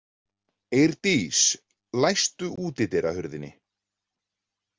Eirdís, læstu útidyrahurðinni.